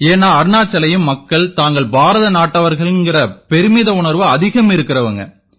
ஏன்னா அருணாச்சல்லயும் மக்கள் தாங்கள் பாரத நாட்டவர்கள்ங்கற பெருமித உணர்வு அதிகம் இருக்கறவங்க